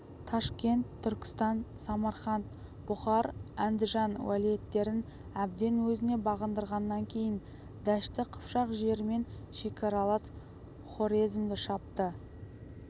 ташкент түркістан самарқант бұқар андижан уәлиеттерін әбден өзіне бағындырғаннан кейін дәшті қыпшақ жерімен шекаралас хорезмді шапты